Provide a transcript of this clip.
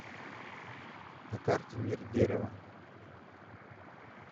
на карте мир дерева